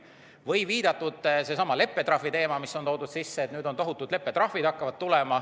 Näiteks on jutuks olnud leppetrahvi teema, et nüüd hakkavad tulema tohutud leppetrahvid.